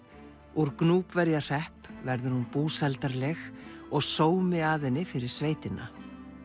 úr Gnúpverjahrepp verður hún búsældarleg og sómi að henni fyrir sveitina